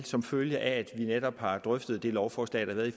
som følge af at vi netop har drøftet det lovforslag